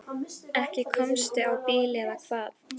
Ekki komstu á bíl eða hvað?